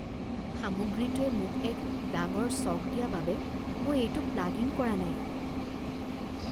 সামগ্ৰীটোৱে মোক এক ডাঙৰ শ্বক দিয়া বাবে মই এইটো প্লাগ ইন কৰা নাই